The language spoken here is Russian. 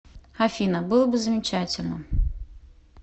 афина было бы замечательно